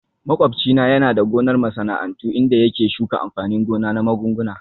Makwabci na yana da gonar masana'antu inda yake shuka amfanin gona na magunguna